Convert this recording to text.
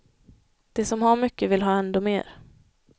De som har mycket vill ha ändå mer.